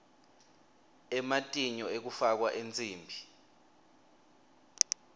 ematinyo ekufakwa ensimbi